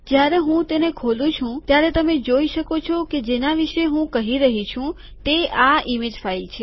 જ્યારે હું તેને ખોલું છું ત્યારે તમે જોઈ શકો છો કે હું જેના વિશે હું કહી રહ્યો છું તે આ ઇમેજ ફાઇલ છે